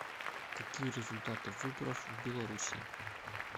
какие результаты выборов в белоруссии